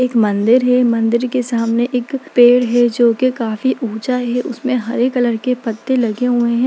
एक मंदिर है मंदिर के सामने एक पेड़ है जो की काफी ऊँचा है उसमें हरे कलर के पत्ते लगे हुए हैं।